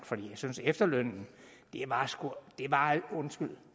for jeg synes at efterlønnen undskyld